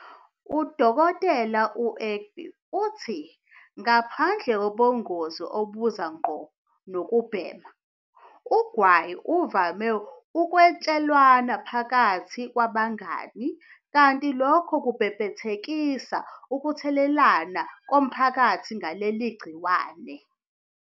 U-Dkt. u-Egbe uthi ngaphandle kobungozi obuza ngqo nokubhema, ugwayi uvame ukwatshelwana phakathi kwabangani kanti lokho kubhebhethekisa ukuthelelana komphakathi ngaleli gciwane.